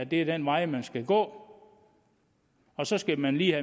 det er den vej man skal gå og så skal man lige